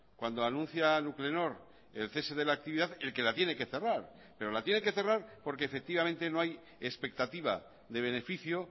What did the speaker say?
cuando anuncia nuclenor el cese de la actividad el que la tiene que cerrar pero la tiene que cerrar porque efectivamente no hay expectativa de beneficio